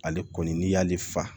Ale kɔni n'i y'ale fa